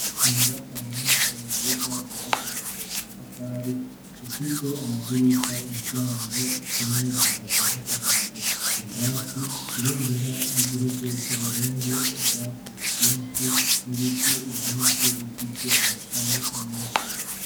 inyubakwa nyinshi nziza zubakishijwe amatafari zifise amadirisha imiryango zimwe zikaba zisakaje ubwatsi ibendera ry'igihugu c'uburundi ubwatsi bwinshi n'ibiti byinshi bifise amashami menshi